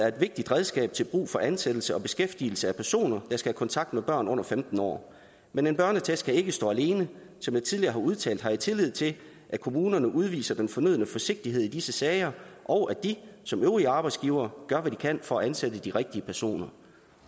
et vigtigt redskab til brug for ansættelse og beskæftigelse af personer der skal have kontakt med børn under femten år men en børneattest kan ikke stå alene som jeg tidligere har udtalt har jeg tillid til at kommunerne udviser den fornødne forsigtighed i disse sager og at de som øvrige arbejdsgivere gør hvad de kan for at ansætte de rigtige personer